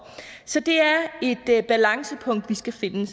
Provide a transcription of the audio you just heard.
så det er et balancepunkt vi skal finde jeg